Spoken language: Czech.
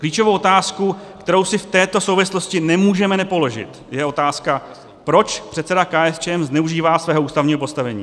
Klíčovou otázku, kterou si v této souvislosti nemůžeme nepoložit, je otázka, proč předseda KSČM zneužívá svého ústavního postavení.